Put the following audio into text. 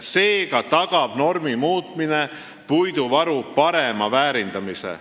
Seega tagab normi muutmine puiduvaru parema väärindamise.